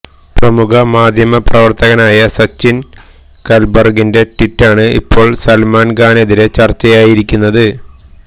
പ്രമുഖ മാധ്യമപ്രവർത്തകനായ സച്ചില് കല്ബര്ഗിന്റെ ട്വീറ്റാണ് ഇപ്പോള് സല്മാന് ഖാനെതിരെ ചർച്ചയായിരിക്കുന്നത്